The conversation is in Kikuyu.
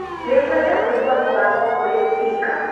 Nĩngwenda kũigua mũgambo kuri spika